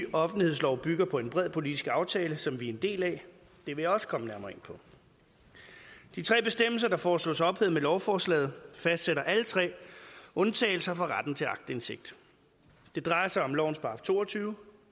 offentlighedslov bygger på en bred politisk aftale som vi er en del af det vil jeg også komme nærmere ind på de tre bestemmelser der foreslås ophævet med lovforslaget fastsætter alle tre undtagelser fra retten til aktindsigt det drejer sig om lovens § to og tyve